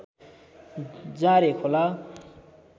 जारे खोला